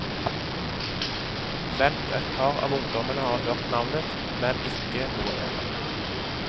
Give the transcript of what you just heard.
Vent, et par av ungdommene har hørt navnet, men ikke noe mer.